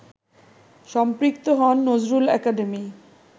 সম্পৃক্ত হন নজরুল একাডেমি